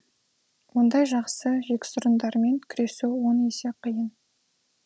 ондай жақсы жексұрындармен күресу он есе қиын